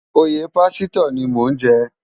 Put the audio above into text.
Óyé pásitò ni mó n jè